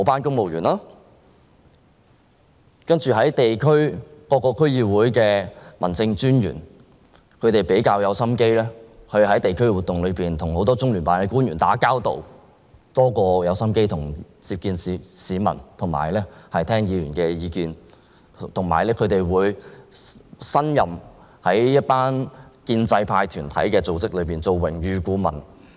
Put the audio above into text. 此外，各個區議會的民政專員會在地區活動上跟很多中央人民政府駐香港特別行政區聯絡辦公室的官員打交道，相較於接見市民和聆聽議員意見，他們花在這方面的心機更多，而且，他們會擔任建制派團體組織的榮譽顧問。